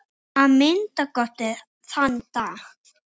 Að minnsta kosti þann dag.